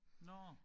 Nåh